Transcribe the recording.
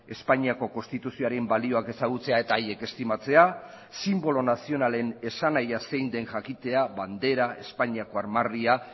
espainiako konstituzioaren balioak ezagutzea eta haiek estimatzea sinbolo nazionalen esanahia zein den jakitea bandera espainiako armarria